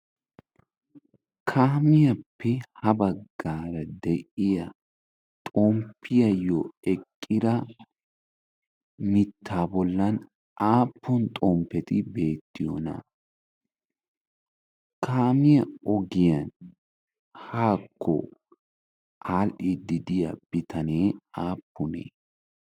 Kaamiyaappe ha baggaara de'iya xomppiyaayyo eqqida mitta bollan aappun xomppeti beettiyoona? Kaamiyaa ogiyan haakko adhdhidi de'iya bitanee aappunee?